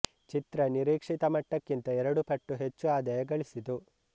ಚಿತ್ರ ನಿರೀಕ್ಷಿತ ಮಟ್ಟಕ್ಕಿಂತ ಎರಡು ಪಟ್ಟು ಹೆಚ್ಚು ಆದಾಯ ಗಳಿಸಿತು